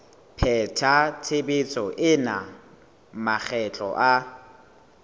pheta tshebetso ena makgetlo a